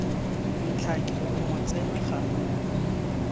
ntlhake o mo tsena ganong